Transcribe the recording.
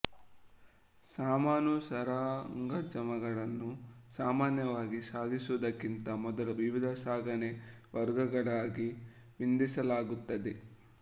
ಸಾಮಾನು ಸರಂಜಾಮುಗಳನ್ನು ಸಾಮಾನ್ಯವಾಗಿ ಸಾಗಿಸುವುದಕ್ಕಿಂತ ಮೊದಲು ವಿವಿಧ ಸಾಗಣೆ ವರ್ಗಗಳಾಗಿ ವಿಂಡಿಸಲಾಗುತ್ತದೆ